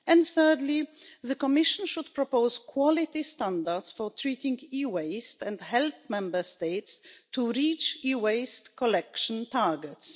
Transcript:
Thirdly, the Commission should propose quality standards for treating e waste and help Member States to reach e waste collection targets.